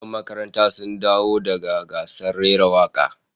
Yan makarantar sun dawo daga gasar rera waka